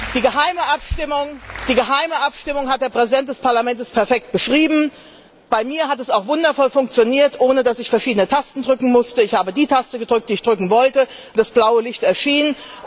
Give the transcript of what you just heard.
Die geheime Abstimmung hat der Präsident des Parlaments perfekt beschrieben, bei mir hat es auch wundervoll funktioniert, ohne dass ich verschiedene Tasten drücken musste. Ich habe die Taste gedrückt, die ich drücken wollte, und das blaue Licht erschien.